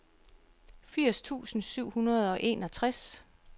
firs tusind syv hundrede og enogtres